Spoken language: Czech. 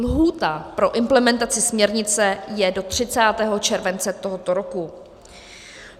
Lhůta pro implementaci směrnice je do 30. července tohoto roku.